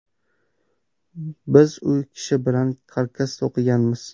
Biz u kishi bilan karkas to‘qiganmiz.